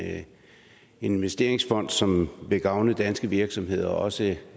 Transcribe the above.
investeringsfond som vil gavne danske virksomheder og også